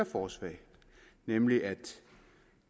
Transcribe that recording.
forslag nemlig at